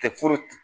Kɛ